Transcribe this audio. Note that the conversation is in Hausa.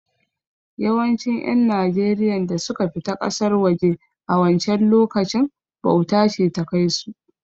Yawancin ƴan najeriyan da suka fita ƙasar waje a wancen lokacin, bauta ce ta kai su